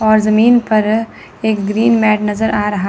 और जमीन पर एक ग्रीन मैट नजर आ रहा--